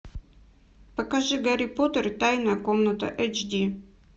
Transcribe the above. покажи гарри поттер и тайная комната эйч ди